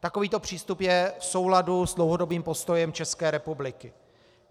Takovýto přístup je v souladu s dlouhodobým postojem České republiky.